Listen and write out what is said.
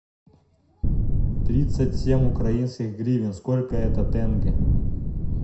тридцать семь украинских гривен сколько это тенге